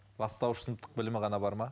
бастауыш сыныптық білімі ғана бар ма